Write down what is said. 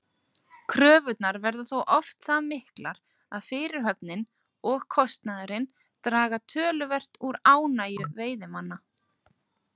Kröfurnar verða þó oft það miklar að fyrirhöfnin og kostnaðurinn draga töluvert úr ánægju veiðimanna.